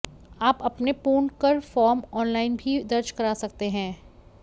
आप अपने पूर्ण कर फ़ॉर्म ऑनलाइन भी दर्ज कर सकते हैं